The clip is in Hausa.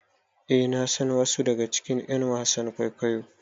Eh nasan wasu daga cikin ƴan wasan kwaikwayon